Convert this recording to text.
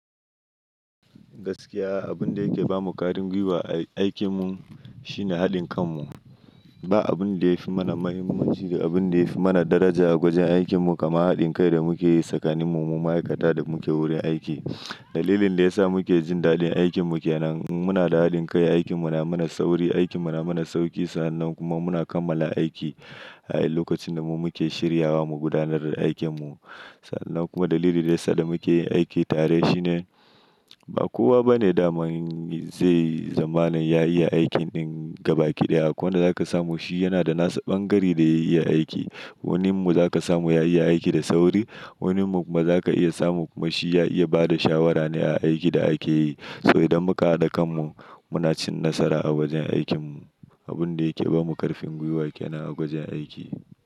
Gaskiya abun da yake ba mu kwarin gwiwa a aikin mu shine haɗin kan mu. Ba abun da ya fi mana muhimmanci da abun da ya fi mana daraja a wajen aikin mu kamar haɗin kai da muke yi tsakanin mu, mu ma'aikata da muke wurin aiki. Dalilin da ya sa muke jin daɗin aikin mu ke nan. Muna da haɗin kai, aikin mu na mana sauri, aikin mu na mana sauki sannan kuma muna kammala aiki a lokacin da mu muke shiryawa mu gudanar da aikin mu. Sannan kuma dalili da ya sa da muke yin aiki tare shine ba kowa bane daman zai zamana ya iya aikin ɗin gaba ɗaya. Akwai wanda za ka samu shi yana da nasa ɓangare da ya iya aiki. Wanin mu za ka samu ya iya aiki da sauri. Wanin mu kuma za ka iya samu kuma shi ya iya ba da shawara ne a aikin da ake yi. So idan muka haɗa kan mu muna cin nasara a wajen aikin mu. Abun da yake ba mu karfin gwiwa ke nan a wajen aiki.